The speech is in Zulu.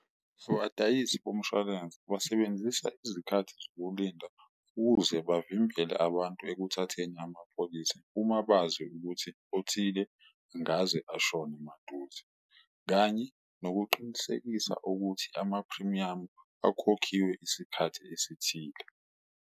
Abadayisi bomshwalense basebenzisa izikhathi zokulinda ukuze bavimbele abantu ekuthatheni amapholisi uma bazi ukuthi othile ngaze ashone maduze, kanye nokuqinisekisa ukuthi amaphrimiyamu akhokhiwe isikhathi esithile.